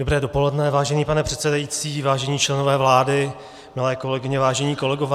Dobré dopoledne, vážený pane předsedající, vážení členové vlády, milé kolegyně, vážení kolegové.